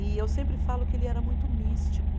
E eu sempre falo que ele era muito místico.